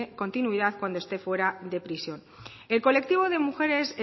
continuidad cuando este fuera de prisión el colectivo de mujeres